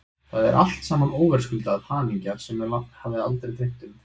Það er alt saman óverðskulduð hamingja sem mig hafði aldrei dreymt um.